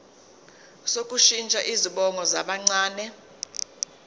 sokushintsha izibongo zabancane